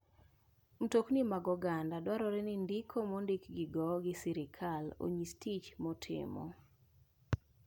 Mtokni mag oganda dwarore ni ndiko mondikgi go gi sirkal onyis tich motimo.